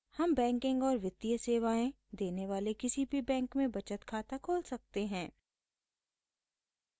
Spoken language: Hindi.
हम बैंकिंग और वित्तीय सेवाएं देने वाले किसी भी बैंक में बचत खाता खोल सकते हैं